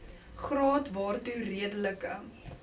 graad waartoe redelike